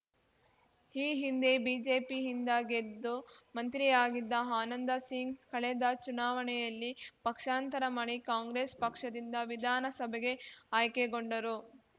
ಈ ಹಿಂದೆ ಬಿಜೆಪಿಯಿಂದ ಗೆದ್ದು ಮಂತ್ರಿಯಾಗಿದ್ದ ಆನಂದಸಿಂಗ್‌ ಕಳೆದ ಚುನಾವಣೆಯಲ್ಲಿ ಪಕ್ಷಾಂತರ ಮಾಡಿ ಕಾಂಗ್ರೆಸ್‌ ಪಕ್ಷದಿಂದ ವಿಧಾನಸಭೆಗೆ ಆಯ್ಕೆಗೊಂಡರು